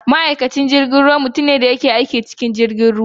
Ma’aikacin jirgin ruwa mutum ne da ke aiki a cikin jirgin ruwa.